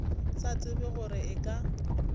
sa tsebe gore e ka